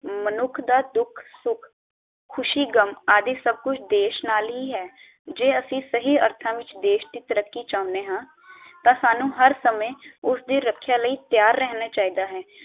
ਮਨੁੱਖ ਦਾ ਦੁੱਖ ਸੁਖ ਖੁਸ਼ੀ ਗ਼ਮ ਆਦਿ ਸਬ ਕੁਛ ਦੇਸ਼ ਨਾਲ ਹੀ ਹੈ ਜੇ ਅਸੀਂ ਸਹੀ ਅਰਥਾਂ ਚ ਦੇਸ਼ ਦੀ ਤਰੱਕੀ ਚਾਹੁੰਦੇ ਹਾਂ ਤਾਂ ਸਾਨੂ ਹਰ ਸਮੇਂ ਉਸਦੀ ਰੱਖਿਆ ਲਈ ਤੈਯਾਰ ਰਹਿਣਾ ਚਾਹੀਦਾ ਹੈ